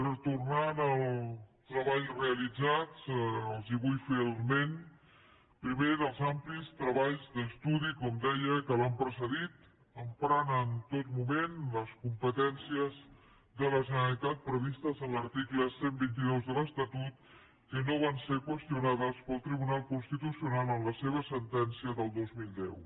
retornant al treball realitzat els vull fer esment primer dels amplis treballs d’estudi com deia que l’han precedit emprant en tot moment les competències de la generalitat previstes en l’article cent i vint dos de l’estatut que no van ser qüestionades pel tribunal constitucional en la seva sentència del dos mil deu